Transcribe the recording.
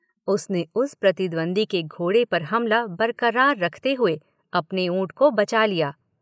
उसने उस प्रतिद्वंद्वी के घोड़े पर हमला बरकरार रखते हुए अपने ऊंट को बचा लिया।